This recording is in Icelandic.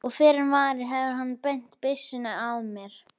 Og fyrr en varir hefur hann beint byssunni að mér.